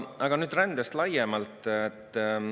Aga nüüd rändest laiemalt.